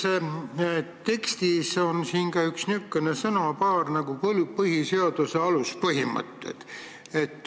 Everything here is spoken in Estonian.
Selles tekstis siin on ka üks niisugune sõnapaar nagu "põhiseaduse aluspõhimõtted".